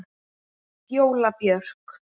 Fjóla Björk.